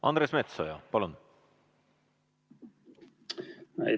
Andres Metsoja, palun!